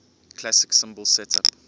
classic cymbal setup